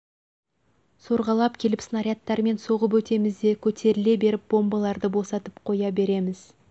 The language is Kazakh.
сорғалап келіп снарядтармен соғып өтеміз де көтеріле беріп бомбаларды босатып қоя береміз